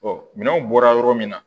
minɛnw bɔra yɔrɔ min na